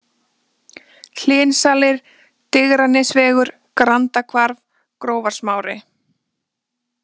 Hlynsalir, Digranesvegur, Grandahvarf, Grófarsmári